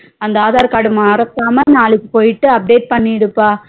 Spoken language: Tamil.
அந்த aadhar card மறக்காம நாளைக்கு போயிட்டு update பணிடுப்பா